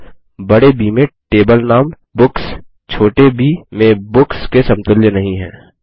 मतलबबड़े ब में टेबल नाम बुक्स छोटे ब में बुक्स के समतुल्य नहीं है